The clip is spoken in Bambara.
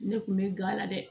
Ne kun bɛ gala dɛ